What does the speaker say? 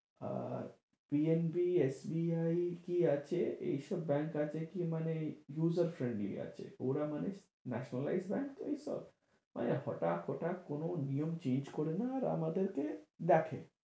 আর PNB, SBI কী আছে, এইসব bank আছে কী মানে user friendly আছে। ওরা মানে national life bank তো ঐ সব মানে ঐ হঠাৎ হঠাৎ কোন নিয়ম change করে না আর আমাদেরকে দেখে।